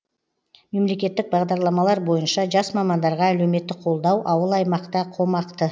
мемлекеттік бағдарламалар бойынша жас мамандарға әлеуметтік қолдау ауыл аймақта қомақты